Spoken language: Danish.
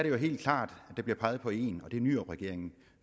jo helt klart at der bliver peget på en og det er nyrupregeringen